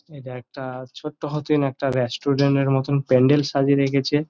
এটা একটা ছোট্ট হোটেল একটা রেস্টুরেন্ট -এর মতো প্যান্ডেল সাজিয়ে রেখেছে ।